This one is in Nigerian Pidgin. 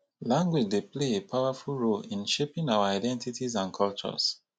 language dey play a powerful role in shaping our identities and cultures.